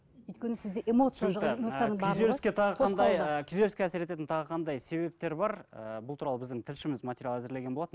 өйткені сізде эмоция ы күйзеліске тағы қандай ы күйзеліске әсер ететін тағы қандай себептер бар ы бұл туралы біздің тілшіміз материал әзірлеген болатын